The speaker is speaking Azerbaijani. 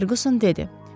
Ferkuson dedi.